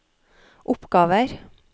oppgaver